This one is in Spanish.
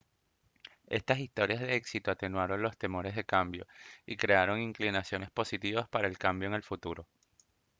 estas historias de éxito atenuaron los temores de cambio y crearon inclinaciones positivas para el cambio en el futuro